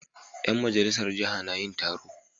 Ƴan majalisar jiha na yin taro.